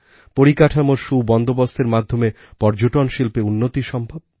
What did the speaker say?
পরিকাঠামোর সুবন্দোবস্তের মাধ্যমে পর্যটন শিল্পে উন্নতি সম্ভব